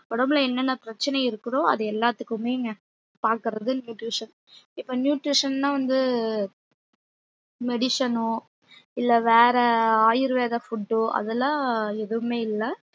உடம்பு ல என்னன்னா பிரச்சனை இருக்குதோ அது எல்லாதுக்குமே இங்க பாக்குறது nutrition இப்ப nutrition னா வந்து medicine ஒ இல்ல வேற ஆயுர்வேத food ஓ அதெல்லாம் எதுவுமே இல்ல